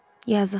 Yazıq.